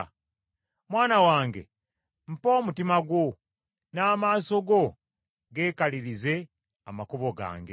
Mwana wange mpa omutima gwo, n’amaaso go geekalirize amakubo gange,